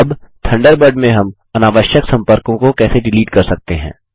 अब थंडरबर्ड में हम अवांछित सम्पर्कों को कैसे डिलीट कर सकते हैं160